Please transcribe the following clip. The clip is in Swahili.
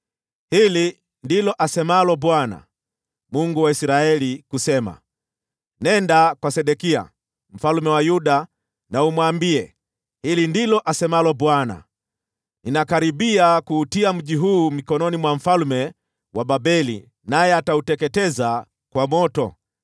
“Hili ndilo asemalo Bwana , Mungu wa Israeli, kusema: Nenda kwa Sedekia mfalme wa Yuda umwambie, ‘Hili ndilo asemalo Bwana : Ninakaribia kuutia mji huu mikononi mwa mfalme wa Babeli, naye atauteketeza kwa moto.